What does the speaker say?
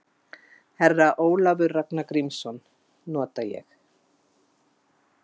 Herra Ólafur Ragnar Grímsson: Nota ég?